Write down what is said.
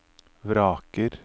vraker